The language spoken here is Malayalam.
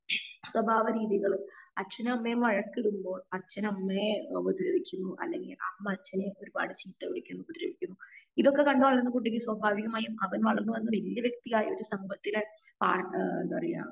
സ്വഭാവം രീതികളും അച്ഛനും അമ്മയും വഴക്കിടുമ്പോൾ അച്ഛൻ അമ്മയേ ഉപദ്രവിച്ചും അല്ലെങ്കിൽ അമ്മ അച്ഛനെ ഒരുപാട് ചീത്ത വിളിക്കും ഉപദ്രവിക്കും ഇതൊക്കെ കണ്ട് വളരുന്ന കുട്ടിക്ക് സ്വഭാവികമായും അവൻ വളർന്ന് വന്ന് വല്യ വ്യക്തിയായി സമ്പത്തിലെ ആ എന്താപറെയാ